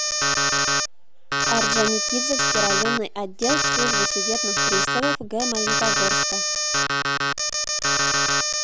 орджоникидзевский районный отдел службы судебных приставов г магнитогорска